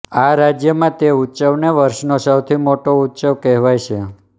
આ રાજ્યમાં તે ઉત્સવને વર્ષનો સૌથી મોટો ઉત્સવ કહેવાય છે